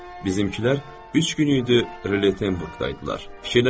Bizimkilər üç gün idi Rollenburqda idilər.